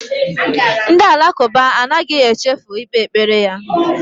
Ndị Alakụba anaghị echi ikpe ikpe kpere ya.